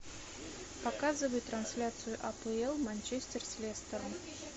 показывай трансляцию апл манчестер с лестером